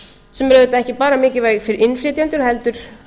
sem er auðvitað ekki bara mikilvæg fyrir innflytjendur heldur